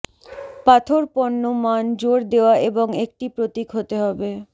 পাথর পণ্য মান জোর দেওয়া এবং একটি প্রতীক হতে হবে